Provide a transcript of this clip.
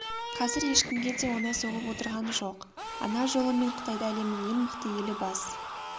қазір ешкімге де оңай соғып отырған жоқ ана жолы мен қытайда әлемнің ең мықты елі бас